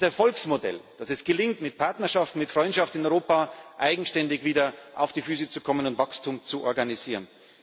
Das ist ein Erfolgsmodell, dass es gelingt, mit Partnerschaft, mit Freundschaft in Europa eigenständig wieder auf die Füße zu kommen und Wachstum zu organisieren.